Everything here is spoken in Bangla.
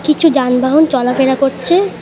কিছু যানবাহন চলাফেরা করছে।